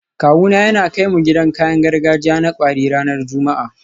Kawuna yana kai mu gidan kayan gargajiya na kwari ranar Juma'a